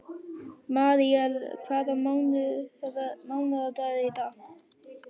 Míríel, hvaða mánaðardagur er í dag?